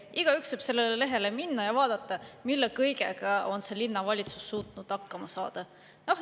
Igaüks võib sellele lehele minna ja vaadata, mille kõigega on see linnavalitsus suutnud hakkama saada.